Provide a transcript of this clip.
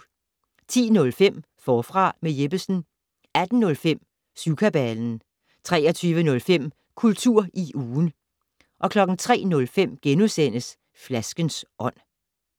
10:05: Forfra med Jeppesen 18:05: Syvkabalen 23:05: Kultur i ugen 03:05: Flaskens ånd *